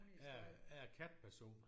Jeg er jeg er katteperson